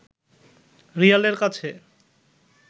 রিয়ালের কাছে